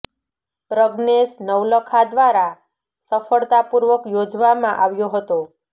પ્રજ્ઞેશ નવલખા દ્વારા સફળતા પૂર્વક યોજવા માં આવ્યો હતો